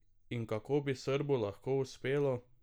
In kako bi Srbu lahko uspelo?